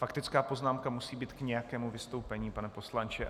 Faktická poznámka musí být k nějakému vystoupení, pane poslanče .